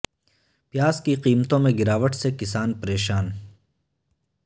پیاز کی قیمتوں میں گراو ٹ سے کسان پریشان